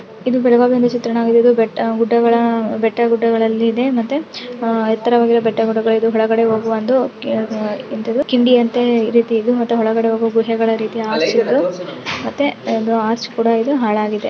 ಇದು ಬೆಳಗಾವಿಯ ಒಂದು ಚಿತ್ರಣವಾಗಿದೆ ಬೆಟ್ಟ ಗುಡ್ಡಗಳ ಬೆಟ್ಟ ಗುಡ್ಡಗಳಲ್ಲಿದೆ ಮತ್ತೆಅಹ್ ಎತ್ತರವಾದ ಬೆಟ್ಟ ಗುಡ್ಡಗಳಿದು ಅಹ್ ಇದು ಕೆಳಗೆ ಹೋಗುವ ಒಂದು ಎಂತದು ಕಿಂಡಿಯಂತೆ ರೀತಿಯಲ್ಲಿ ಮತ್ತೆ ಒಳಗಡೆ ಹೋಗುವ ಗುಹೆಗಳ ರೀತಿಯಲ್ಲಿ ಮತ್ತೆ ಇಲ್ಲಿ ಒಂದು ಆರ್ಚ್ ಕೂಡ ಇದೆ ಹಾಳಾಗಿದೆ.